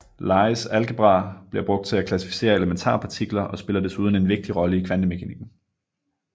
Lies algebra bliver brugt til at klassificere elementarpartikler og spiller desuden en vigtig rolle i kvantemekanikken